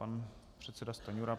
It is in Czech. Pan předseda Stanjura.